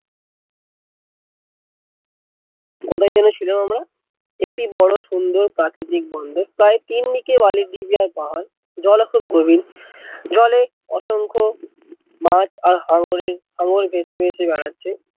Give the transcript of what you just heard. কোথায় যেন ছিলাম আমরা, এটি বড়ো সুন্দর প্রাকৃতিক বন্দর প্রায় তিন দিকে বালির ঢিপি আর পাহাড় জল ও খুব গভীর জলে অসংখ্য মাছ আর হাঙরের হাঙর ভেসে ভেসে বেড়াচ্ছে।